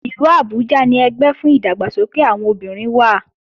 Ìlú Abuja ni ẹgbẹ́ fún ìdàgbàsókè àwọn obìnrin wà